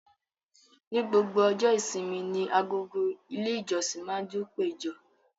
Ní gbogbo ọjọ́ ìṣími ní agọ̀gọ̀ ilẹ̀ ìjọ̀ṣìn ma ndunpẹ̀jọ.